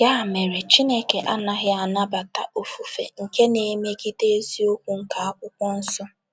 Ya mere, Chineke anaghị anabata ofufe nke na - emegide eziokwu nke akwụkwọ nsọ.